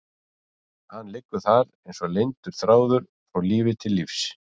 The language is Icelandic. Hann liggur þar eins og leyndur þráður frá lífi til lífs.